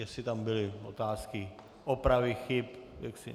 Jestli tam byly otázky, opravy chyb.